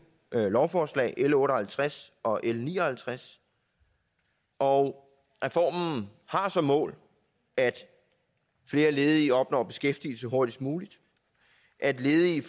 lovforslag l otte og halvtreds og l ni og halvtreds og reformen har som mål at flere ledige opnår beskæftigelse hurtigst muligt at ledige